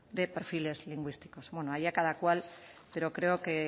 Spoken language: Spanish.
de perfiles lingüísticos bueno allá cada cual pero creo que